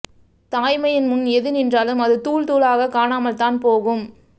தாய்மையின் முன் எது நின்றாலும் அது தூள் தூளாக காணாமல்தான் போகும்